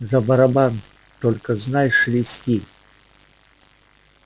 за барабан только знай шелести